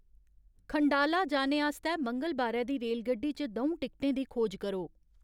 खंडाला जाने आस्तै मंगलबारै दी रेलगड्डी च द'ऊं टिकटें दी खोज करो